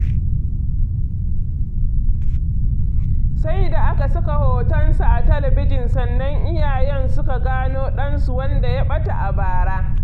Sai da aka saka hotonsa a talabijin sannan iyayen suka gano ɗansu wanda ya ɓata a bara